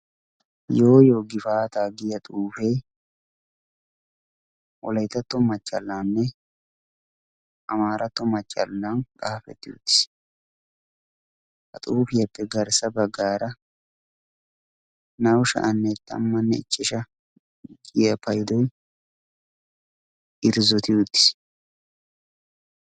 yooyyo gifaata giya xuufee wolaitatto machchallaanne amaaratto machchallan xaafetti uttiis. ha xuufiyaappe garssa baggaara na7u sha7anne tammanne ichchesha giya paidoi irzzoti uttiis.